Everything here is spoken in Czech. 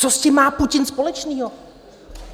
Co s tím má Putin společného?